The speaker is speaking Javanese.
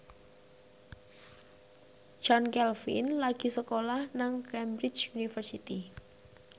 Chand Kelvin lagi sekolah nang Cambridge University